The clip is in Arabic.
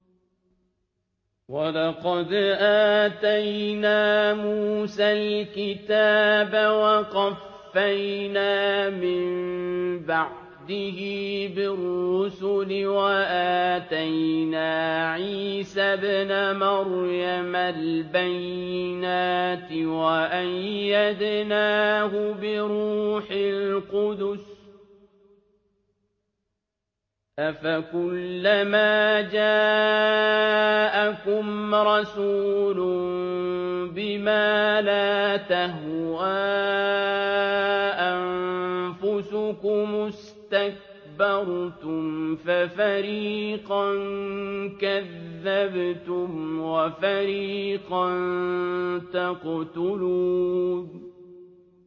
وَلَقَدْ آتَيْنَا مُوسَى الْكِتَابَ وَقَفَّيْنَا مِن بَعْدِهِ بِالرُّسُلِ ۖ وَآتَيْنَا عِيسَى ابْنَ مَرْيَمَ الْبَيِّنَاتِ وَأَيَّدْنَاهُ بِرُوحِ الْقُدُسِ ۗ أَفَكُلَّمَا جَاءَكُمْ رَسُولٌ بِمَا لَا تَهْوَىٰ أَنفُسُكُمُ اسْتَكْبَرْتُمْ فَفَرِيقًا كَذَّبْتُمْ وَفَرِيقًا تَقْتُلُونَ